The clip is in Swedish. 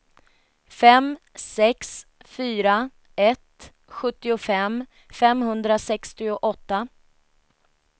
fem sex fyra ett sjuttiofem femhundrasextioåtta